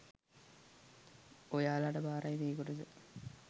ඔයාලට බාරයි මේ කොටස